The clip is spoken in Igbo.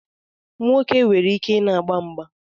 Nwoke nwere ike na-agba mgba